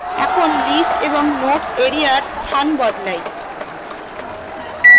এখন list এবং notes এরিয়ার স্থান বদলাই